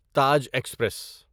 Taj express